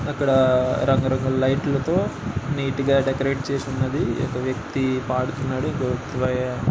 అక్కడ రంగు రంగుల లైట్ లతో నీట్ గ డెకరేట్ చేసి ఉన్నది. ఒక వ్యక్తి పడుతున్నాడు. ఇంకో వ్యక్తి